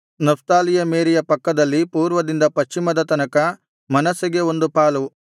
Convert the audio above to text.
ನಫ್ತಾಲಿಯ ಮೇರೆಯ ಪಕ್ಕದಲ್ಲಿ ಪೂರ್ವದಿಂದ ಪಶ್ಚಿಮದ ತನಕ ಮನಸ್ಸೆಗೆ ಒಂದು ಪಾಲು